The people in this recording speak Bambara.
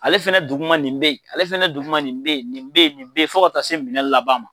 Ale fɛnɛ duguma nin bɛ yen , ale fɛnɛ duguma nin bɛ yen, nin bɛ yen, nin bɛ yen fo ka taa se minɛn laban ma.